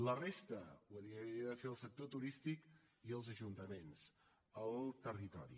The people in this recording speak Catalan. la resta ho havia de fer el sector turístic i els ajuntaments el territori